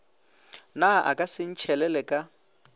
na a ka sentšhelele ka